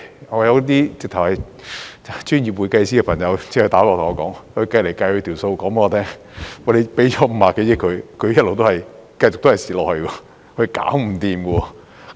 我有專業會計師朋友來電對我說：他無論怎麼計算，算出來的也是給它50多億元，它也會繼續虧蝕下去，是無法解決的。